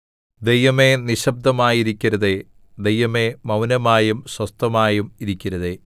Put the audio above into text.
ദൈവമേ നിശ്ശബ്ദമായിരിക്കരുതേ ദൈവമേ മൗനമായും സ്വസ്ഥമായും ഇരിക്കരുതേ